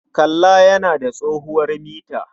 Kalla yana da tsohuwar mita.